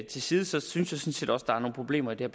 til side så synes jeg sådan set også der er nogle problemer i det